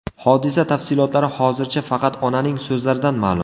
Hodisa tafsilotlari hozircha faqat onaning so‘zlaridan ma’lum.